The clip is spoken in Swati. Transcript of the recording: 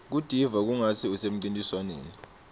kutiva kungatsi usemcintiswaneni